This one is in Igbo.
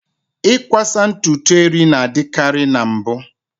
Ịkwasa ntutu eri na-adịkarị na mbụ.